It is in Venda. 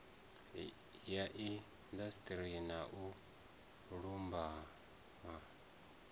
ya indasiṱeri na u lumbama